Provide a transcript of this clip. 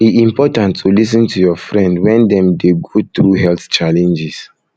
e important to lis ten to your friend when dem dey go through health challenges